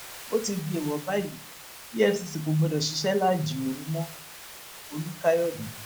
ó ti di èèwọ báyìí efcc kò gbọdọ ṣiṣẹ láàjìn òru mọolùkàyọde